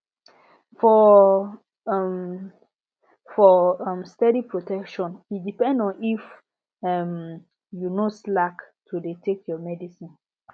for um for um steady protection e depend on if um you no slack to dey take your medicine